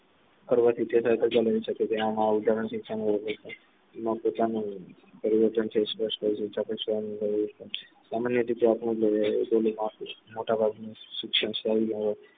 પોતાનું પરિવર્તન છે સામાન્ય રીતે મોટાભાગની શિક્ષણ સંયોજન